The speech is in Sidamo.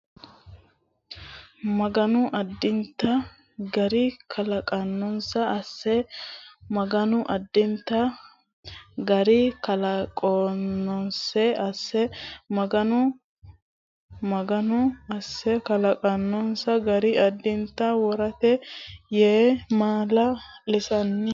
Maganu addinta gari kalaqinose asse Maganu addinta gari kalaqinose asse Maganu Maganu asse kalaqinose gari addinta worete yee maala lanni !